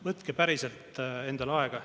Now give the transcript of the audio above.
Võtke päriselt endale aega.